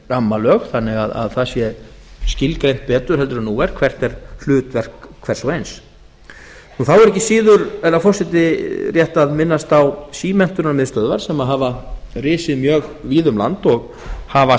rammalög þannig að það sé skilgreint betur en nú er hvert er hlutverk hvers og eins þá er ekki síður herra forseti rétt að minnast á símenntunarmiðstöðvar sem hafa risið mjög víða um land og hafa